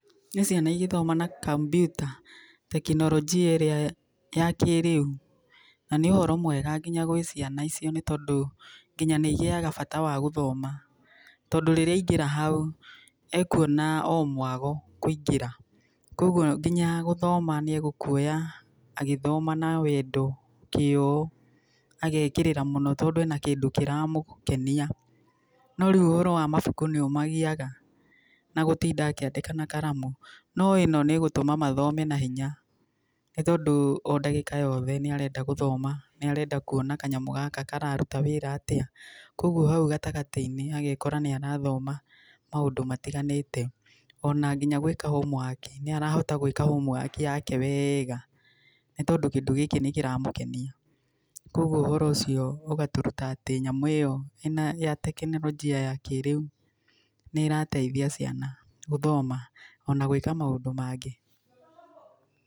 Nĩ ciana igĩthoma na kambiuta, tekinorojia ĩrĩa ya kĩrĩu, na nĩ ũhoro mwega nginya gwĩ ciana icio, nĩ tondũ nginya nĩ igĩyaga bata wa gũthoma, tondũ rĩrĩa aingĩra hau ekuona o mwago kũingĩra, koguo nginya gũthoma nĩ egũkuoya agĩthoma na wendo, kĩyo agekĩrĩra mũno tondũ ena kĩndũ kĩramũkenia, no rĩu ohoro wa mabuku nĩ ũmagiyaga, na gũtinda akĩandĩka na karamu, no ĩno nĩ gũtũma mathome na hinya, nĩ tondũ o ndagĩka yothe, nĩ arenda gũthoma, nĩ arenda kuona kanyamũ gaka kararuta wĩra atĩa, koguo hau gatagatĩ-inĩ agekora nĩ arathoma maũndũ matiganĩte, onaginya gwĩka homework nĩarahota gwĩka homework yake wega, nĩ tondũ kĩndũ gĩkĩ nĩ kĩramũkenia, koguo ũhoro ũcio ũgatũruta atĩ nyamũ ĩyo ya ĩna tekinorojia ya kĩrĩu, nĩ ĩrateithia ciana gũthoma, ona gwĩka maũndũ mangĩ.